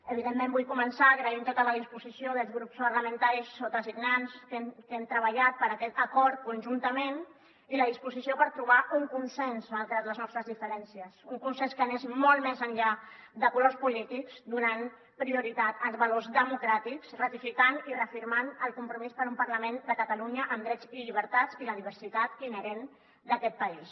evidentment vull començar agraint tota la disposició dels grups parlamentaris sotasignats que hem treballat per aquest acord conjuntament i la disposició per trobar un consens malgrat les nostres diferències un consens que anés molt més enllà de colors polítics donant prioritat als valors democràtics ratificant i reafirmant el compromís per un parlament de catalunya amb drets i llibertats i la diversitat inherent d’aquest país